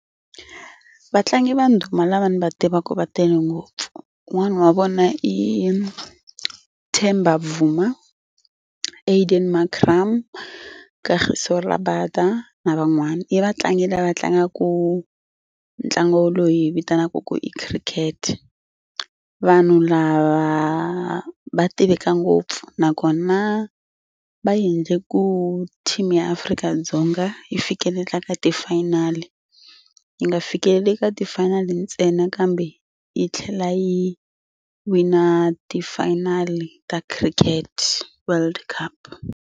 Vatlangi va ndhuma lava ni va tivaka va tele ngopfu un'wana wa vona i Themba Bavuma, Aiden Markram, Kagiso Rabada na van'wana. I vatlangi lava tlangaka ntlangu loyi hi yi vitanaka ku i cricket. Vanhu lava va tiveka ngopfu nakona va endle ku team ya Afrika-Dzonga yi fikelela ka ti-final yi nga fikeleli ka ti-final ntsena kambe yi tlhela yi wina ti-final ta cricket world cup.